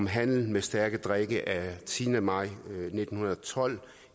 handel med stærke drikke af tiende maj nitten tolv